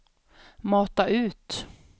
mata ut